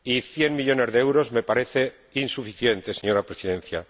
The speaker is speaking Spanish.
Cien millones de euros me parecen insuficientes, señora Presidenta.